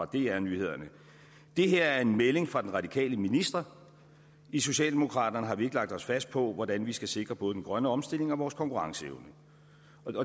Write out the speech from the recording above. dr nyhederne det her er en melding fra den radikale minister i socialdemokraterne har vi ikke lagt os fast på hvordan vi skal sikre både den grønne omstilling og vores konkurrenceevne